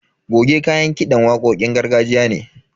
Goge kayan kiɗan waƙoƙin gargajiya ne.